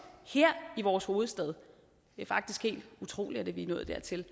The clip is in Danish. her i vores hovedstad det er faktisk helt utroligt at vi er nået dertil